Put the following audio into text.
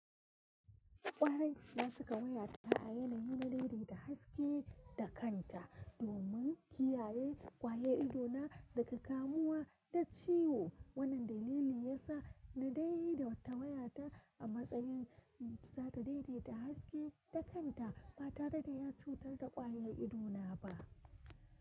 Ƙwarai na saka wayata a yanayin da dai dai da haske da kanta domin kiyaye ƙwayar idona daga kamuwa da ciwo. Wannan dalili yasa na dai dai ta wayata a matsayin za ta daidaita haske da kanta ba tare da ya cutar da ƙwayar idona ba.